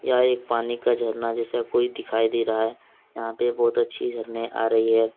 यह एक पानी का झरना जैसा कोई दिखाई दे रहा है यहां पे बहुत अच्छी झरने आ रही है।